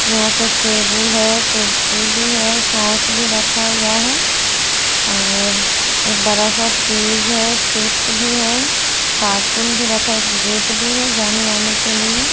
यहा पे एक टेबुल है कुर्सी भी है सोस भी रखा हुआ है और एक बरा सा फ्रिज है चिप्स भी है कार्टून भी रखा एक गेट भी है जाने आने के लिए--